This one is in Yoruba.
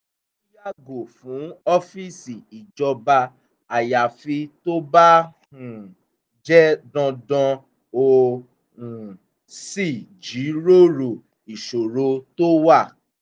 ó yàgò fún ọ́fíìsì ìjọba ayafi tó bá um jẹ́ dandan ó um sì jíròrò ìṣòro tó wà